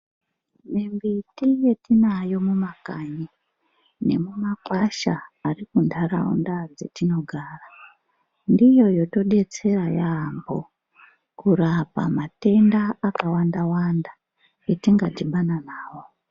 Mimbiti yetinayo mumakanyi nemumakwasha ari muntaraunda dzetinogara, ndiyo yotodetsera yaambo mukurapa matenda akawanda-wanda atingadhibana nawo.